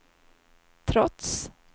trots